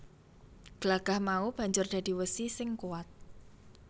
Glagah mau banjur dadi wesi sing kuwat